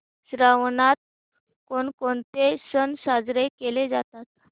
श्रावणात कोणकोणते सण साजरे केले जातात